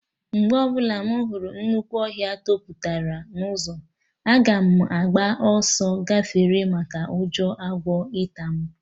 Mgbe ọbụla mụ hụrụ nnukwu ọhịa toputara n'ụzọ, aga m agba ọsọ gafee maka ụjọ agwọ ịta mụ